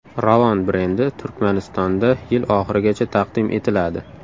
Ravon brendi Turkmanistonda yil oxirigacha taqdim etiladi.